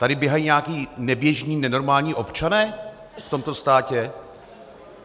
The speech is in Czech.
Tady běhají nějací neběžní, nenormální občané v tomto státě?